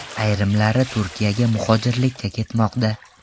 Ayrimlari Turkiyaga muhojirlikka ketmoqda.